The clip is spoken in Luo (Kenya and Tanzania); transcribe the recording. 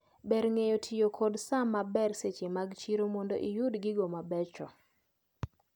Ber ng`eyo tiyo kod saa maber seche mag chiro mondo iyud gigo mabecho.